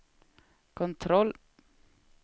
kontroll